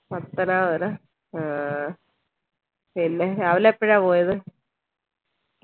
പത്തനാപുരം അഹ് പിന്നെ രാവിലെ എപ്പഴാ പോയത്